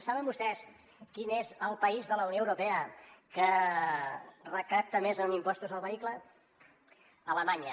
saben vostès quin és el país de la unió europea que recapta més en impostos al vehicle alemanya